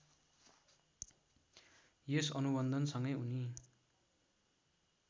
यस अनुबन्धनसँगै उनी